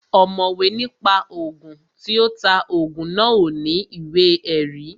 Ọ̀mọ̀wé ní pa Ògùn, tí ó ta Ògùn náà ò ní ìwé ẹ̀rí